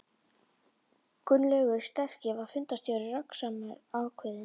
Gunnlaugur sterki var fundarstjóri, röggsamur, ákveðinn.